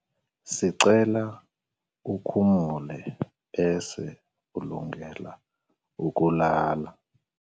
sicela ukhumule bese ulungele ukulala